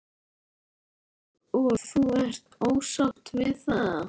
Sindri: Og þú ert ósátt við það?